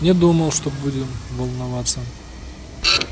не думал что будем волноваться